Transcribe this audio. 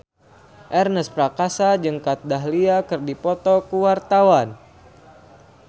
Ernest Prakasa jeung Kat Dahlia keur dipoto ku wartawan